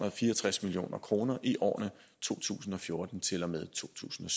og fire og tres million kroner i årene to tusind og fjorten til og med totusinde